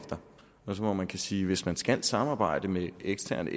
efter man kan sige at hvis man skal samarbejde med eksterne